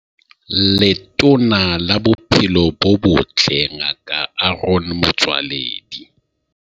Letona la Bophelo bo Botle Ngaka Aaron Motsoaledi.